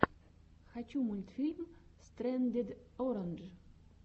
хочу мультфильм стрэндед орандж